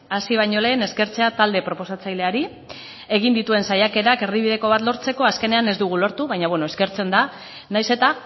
hasi baino lehen eskertzea talde proposatzaileari egin dituen saiakerak erdibideko bat lortzeko azkenean ez dugu lortu baina eskertzen da nahiz eta